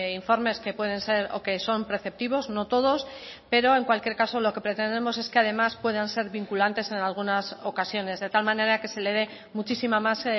informes que pueden ser o que son preceptivos no todos pero en cualquier caso lo que pretendemos es que además puedan ser vinculantes en algunas ocasiones de tal manera que se le dé muchísima más